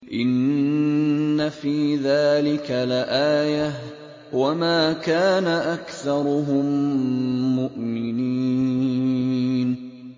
إِنَّ فِي ذَٰلِكَ لَآيَةً ۖ وَمَا كَانَ أَكْثَرُهُم مُّؤْمِنِينَ